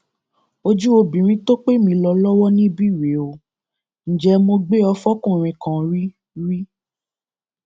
ojú obìnrin tó pè mí lọlọwọ níbí rèé ò ǹjẹ mo gbé e fọkùnrin kan rí rí